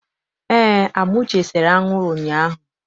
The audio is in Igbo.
Eé, Amuche sere anwụrụ ụnyaahụ.